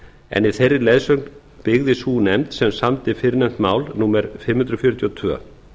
en í þeirri leiðsögn byggði sú nefnd sem samdi fyrrnefnt mál númer fimm hundruð fjörutíu og tvö